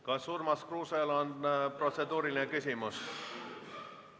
Kas Urmas Kruusel on protseduuriline küsimus?